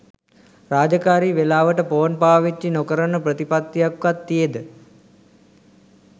රාජකාරි වෙලාවට ෆෝන් පාවිච්චි නොකරන ප්‍රතිපත්තියක්වත් තියෙද?